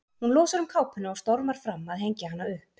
Hún losar um kápuna og stormar fram að hengja hana upp.